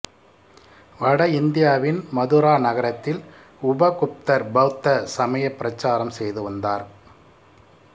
வட இந்தியாவின் மதுரா நகரத்தில் உபகுப்தர் பௌத்த சமயப் பிரச்சாரம் செய்து வந்தார்